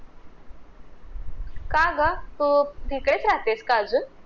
का ग? अं तिथेच राहतेस का अजून?